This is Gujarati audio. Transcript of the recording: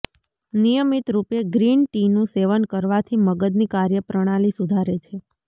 નિયમિત રૂપે ગ્રીન ટીનું સેવન કરવાથી મગજની કાર્યપ્રણાલી સુધારે છે